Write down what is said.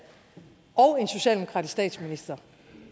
og en socialdemokratisk statsminister